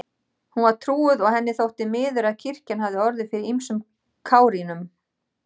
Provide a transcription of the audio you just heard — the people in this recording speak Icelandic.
Hún var trúuð og henni þótti miður að kirkjan hafði orðið fyrir ýmsum kárínum.